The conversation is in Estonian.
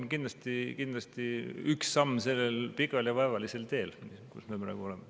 Aga jah, see on kindlasti üks samm sellel pikal ja vaevalisel teel, kus me praegu oleme.